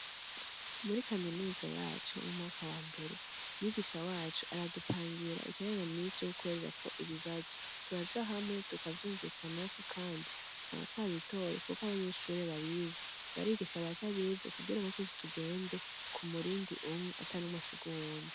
Muri kaminuza yacu mu mwaka wa mbere mwigisha wacu aradupangira ikirana mizi c'kwererako ibibazo turaja hamwe tukavyumvikanako, kandi gusanga twabitoye, kuko abanyeshure babize barigisha batabiza ukugira ngo twuzitugende ku murindi umwe ata numaasigunzi.